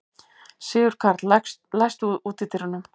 Sigurkarl, læstu útidyrunum.